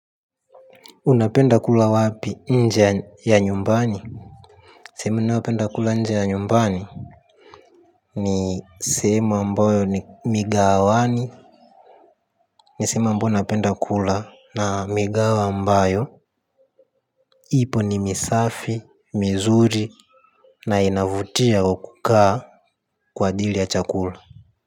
Unapenda kula wapi nje ya nyumbani. Sehemu nayopenda kula nje ya nyumbani ni sehemu ambayo ni migahawani. Ni sehemu ambayo napenda kula na migawa ambayo ipo ni misafi, mizuri na inavutia wakukaa kwa dili ya chakula.